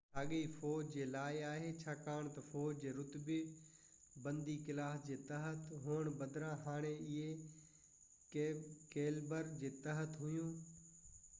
ساڳيو فوج جي لاءِ آهي ڇاڪاڻ تہ فوج جي رتبي بندي ڪلاس جي تحت هئڻ بدران هاڻي اهي ڪيلبر جي تحت هئيون